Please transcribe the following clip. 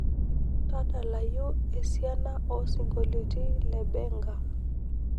tadalayu isiana oo isingolioni le benga